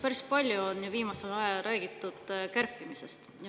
Päris palju on viimasel ajal räägitud kärpimisest.